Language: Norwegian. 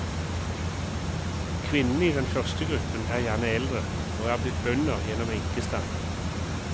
Kvinnene i den første gruppen er gjerne eldre, og er blitt bønder gjennom enkestand.